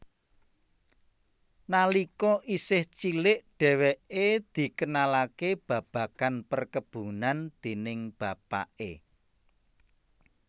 Nalika isih cilik dheweke dikenalake babagan perkebunan déning bapake